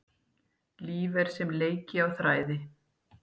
Líf er sem leiki á þræði.